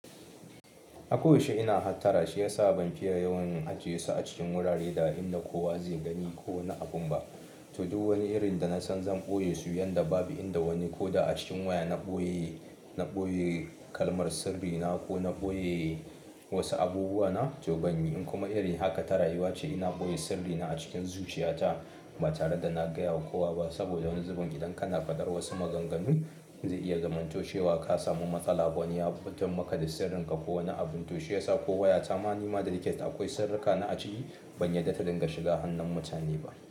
A ko yaushe ina hattara shiyasa ban fiye yawan ajiyesu a cikin wurare da inda kowa zai gani ko wani abun ba. To duk wuri irin da nasan zan ɓoye su yanda babu inda wani ko da a cikin waya na ɓoye, na ɓoye kalmar sirri na ko na ɓoye wasu abubuwa na to ban yi. In kuma irin haka ta rayuwa ce ina ɓoye sirri na a cikin zuciya ta ba tare da na gaya wa kowa ba. Saboda wani zubin idan kana faɗar wasu maganganu, zai iya zamantoshewa ka samu matsala wani ya fitar maka da sirrin ka ko wani abin to shiyasa ko waya ta ma nima da nake akwai sirri ka na aciki ban yarda ta dinga shiga hannun mutane ba.